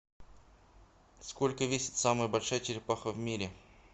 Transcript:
сколько весит самая большая черепаха в мире